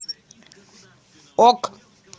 ок